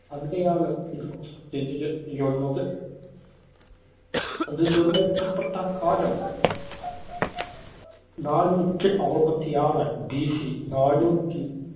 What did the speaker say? അവിടെയാണ് ഇത് സ്ഥിതി ചെയ്യുന്നത്. അത് നിര്‍മ്മിക്കപ്പെട്ട കാലം നാനൂറ്റി അറുപത്തിയാറ് BC നാനൂറ്റി